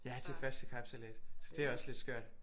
Ja det er første kapsejlads så det er også lidt skørt